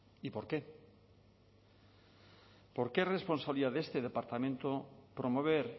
y por qué y por qué porque es responsabilidad de este departamento promover